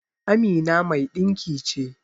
Amina mai dinki ce.